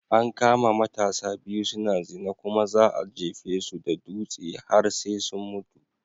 An kama matasa biyu suna zina kuma za'a jefisu da dutsi har sai sun mutu.